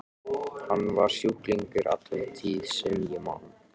Hann var sjúklingur alla tíð sem ég man.